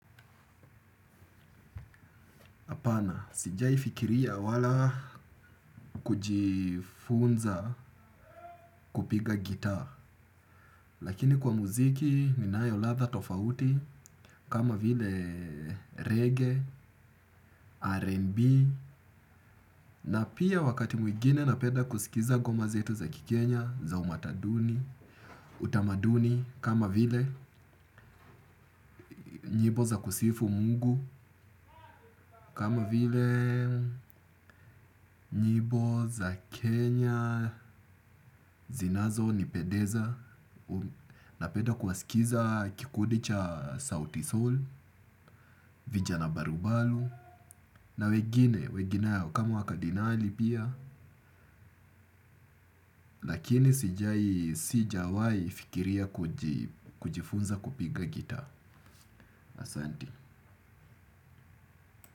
Apana, sijaifikiria wala kujifunza kupiga gitaa. Lakini kwa muziki ninayo ladha tofauti, kama vile reggae, rnb, na pia wakati mwigine na peda kusikiza goma zetu za kikenya, za umataduni, utamaduni, kama vile nyibo za kusifu mungu, kama vile nyibo za Kenya zinazo ni pedeza. Na peda kuwasikiza kikudi cha Sauti soul Vijana Barubalu Na weginayo kama wakadinali pia. Lakini sijai sijawai fikiria kujifunza kupiga gita. Asante.